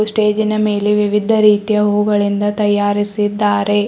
ಸ್ಟೇಜಿನ ಮೇಲೆ ವಿವಿಧ ರೀತಿಯ ಹೂಗಳಿಂದ ತಯಾರಿಸಿದ್ದಾರೆ.